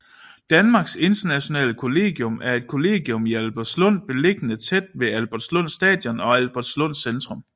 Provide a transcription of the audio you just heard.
Danmarks Internationale Kollegium er et kollegium i Albertslund beliggende tæt ved Albertslund Station og Albertslund Centrum